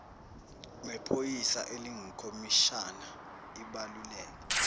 nephoyisa elingukhomishana ibaluleke